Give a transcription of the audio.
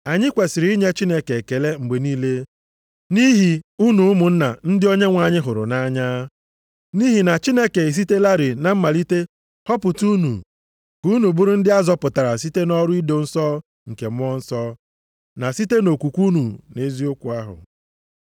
Anyị kwesiri inye Chineke ekele mgbe niile nʼihi unu ụmụnna ndị Onyenwe anyị hụrụ nʼanya. Nʼihi na Chineke esitelarị na mmalite họpụta unu ka unu bụrụ ndị a zọpụtara site nʼọrụ ido nsọ nke Mmụọ Nsọ na site nʼokwukwe unu nʼeziokwu ahụ.